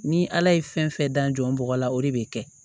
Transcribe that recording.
Ni ala ye fɛn fɛn da n bɔgɔ la o de bɛ kɛ